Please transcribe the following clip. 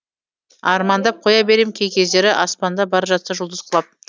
армандап қоя берем кей кездері аспанда бара жатса жұлдыз құлап